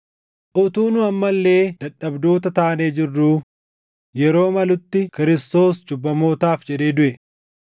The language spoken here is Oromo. Utuu nu amma illee dadhabdoota taanee jirruu yeroo malutti Kiristoos cubbamootaaf jedhee duʼe.